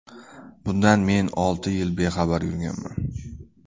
Bundan men olti yil bexabar yurganman.